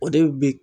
O de bɛ bi